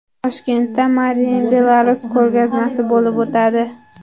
Toshkentda Made in Belarus ko‘rgazmasi bo‘lib o‘tadi.